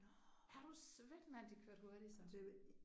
Er du svedt mand de kørte hurtigt så